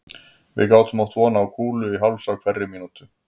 Við gátum átt von á kúlu í háls á hverri mín